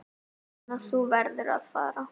Lena, þú verður að fara!